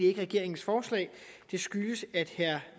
ikke regeringens forslag det skyldes at herre